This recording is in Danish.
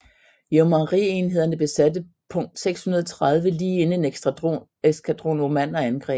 Yeomanry enhederne besatte punkt 630 lige inden en eskadron osmanner angreb